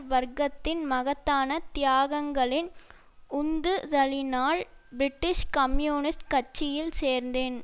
வர்க்கத்தின் மகத்தான தியாகங்களின் உந்து தலினால் பிரிட்டிஷ் கம்யூனிஸ்ட் கட்சியில் சேர்ந்தேன்